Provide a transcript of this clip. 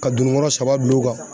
Ka dunukɔrɔ saba bil'u kan.